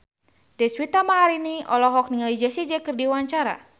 Deswita Maharani olohok ningali Jessie J keur diwawancara